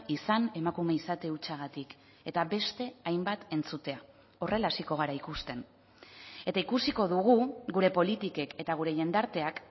izan emakume izate hutsagatik eta beste hainbat entzutea horrela hasiko gara ikusten eta ikusiko dugu gure politikek eta gure jendarteak